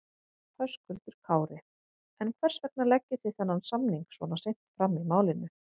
Höskuldur Kári: En hvers vegna leggið þið þennan samning svona seint fram í málinu?